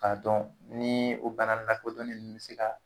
K'a dɔn nii o bana lakodɔnnen nunnu sera